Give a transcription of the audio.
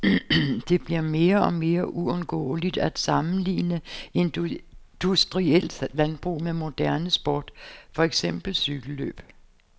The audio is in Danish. Det bliver mere og mere uundgåeligt at sammenligne industrielt landbrug med moderne sport, for eksempel cykellløb.